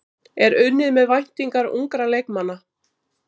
Er unnið með væntingar ungra leikmanna?